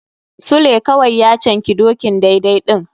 Sule kawai ya canki dokin daidai ɗin.